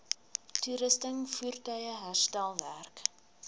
toerusting voertuie herstelwerk